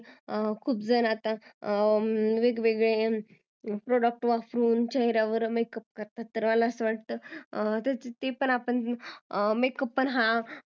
खूप जण आता वेगवेगळे product वापरून चेहऱ्यावर makeup करतात तर मला असं वाटतं ते पण आपण makeup पण हा